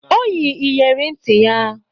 O yi iyere nti ya